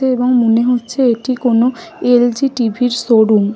এবং মনে হচ্ছে এটি কোন এল. জি টিভি -র শোরুম ।